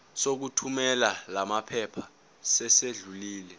sokuthumela lamaphepha sesidlulile